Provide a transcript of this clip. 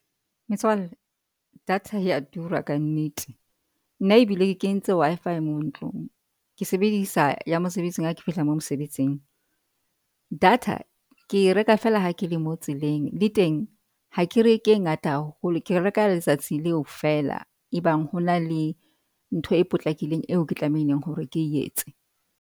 Metswalle data ya tura ka nnete nna ebile ke kentse Wi-Fi mo ntlong. Ke sebedisa ya mosebetsing ha ke fihla mo mosebetsing. Data ke reka fela ha ke le mo tseleng. Le teng ha ke re ke e ngata haholo, ke reka letsatsi leo fela. E bang ho na le ntho e potlakileng eo ke tlamehileng hore ke e tse.